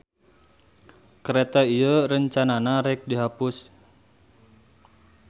Kareta ieu rencanana rek dihapus.